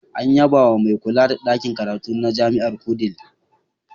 An yabawa mai kula da ɗakin karatu na Jami'ar Wudil.